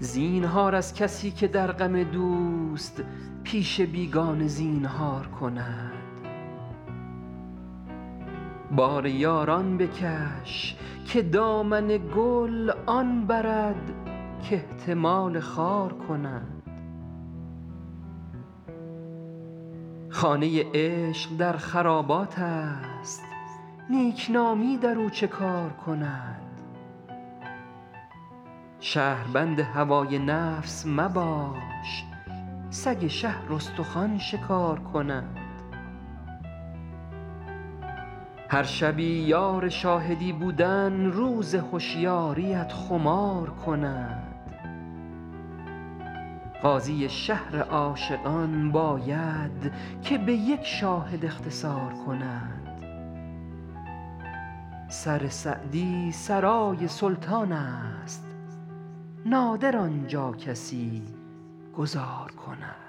زینهار از کسی که در غم دوست پیش بیگانه زینهار کند بار یاران بکش که دامن گل آن برد کاحتمال خار کند خانه عشق در خراباتست نیکنامی در او چه کار کند شهربند هوای نفس مباش سگ شهر استخوان شکار کند هر شبی یار شاهدی بودن روز هشیاریت خمار کند قاضی شهر عاشقان باید که به یک شاهد اختصار کند سر سعدی سرای سلطانست نادر آن جا کسی گذار کند